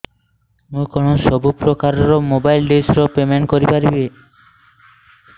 ମୁ କଣ ସବୁ ପ୍ରକାର ର ମୋବାଇଲ୍ ଡିସ୍ ର ପେମେଣ୍ଟ କରି ପାରିବି